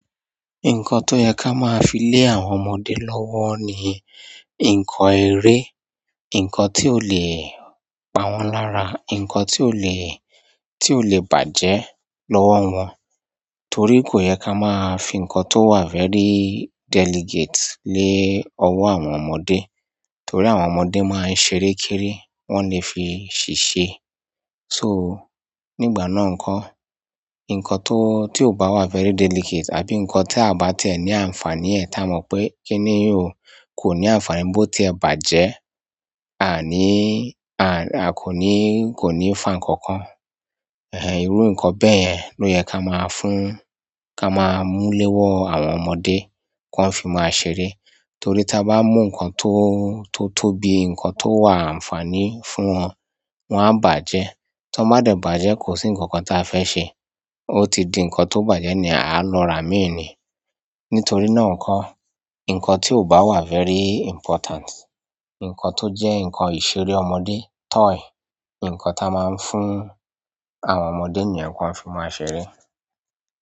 Nǹkan tó yẹ ká máa fi lé àwọn ọmọdé lọ́wọ́ ni nǹkan eré, nǹkan tí ó lè pa wọ́n lára, nǹkan tí ó lè, tí ó lè bàjẹ́ lọ́wọ́ wọn. Torí kò yẹ ká máa fi nǹkan tó wà very delicate lé ọwọ́ àwọn ọmọdé, torí àwọn ọmọdé máa ń ṣeré kéré, wọ́n lè fi ṣiṣe. So, nígbà náà nǹko, nǹkan tó, tí ò bá wà very delicate àbí nǹkan tí a bá tẹ̀ ní àǹfààní ẹ́ ti ámọ̀ pé kíni yi kò ní àǹfààní bó tí ẹ bàjẹ́, a ní, a kò ní, kò ní fà nkankan. Iru nkan beyen lo ye ka ma mu le owo àwọn ọmọdé ki won fi maa ṣeré torí ti a ba mu nkan ti tóbi nkan ti o wa anfani fún won won a baaje tí wọ́n bá de bàjẹ́, kò sí nǹkankan tí a fẹ́ ṣe. Ó ti di nǹkan tó bàjẹ́ niyen a lọ ra míì ní. Nítorí náà nǹko, nǹkan tí ò bá wà very important, nǹkan tójẹ́ nǹkan ìṣeré ọmọdé, toy, nǹkan tí a máa ń fún àwọn ọmọdé niyen kiwọ́ń fi máa ṣeré.